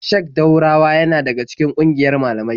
Sheik Daurawa yana daga cikin ƙungiyar malamai.